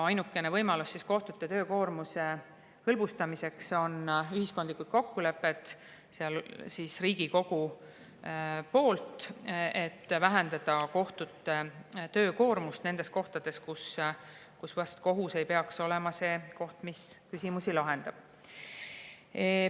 Ainukene võimalus kohtute töökoormuse hõlbustamiseks on ühiskondlikud kokkulepped Riigikogus, et vähendada kohtute töökoormust nendes kohtades, kus kohus ei pea olema see, kes neid küsimusi lahendab.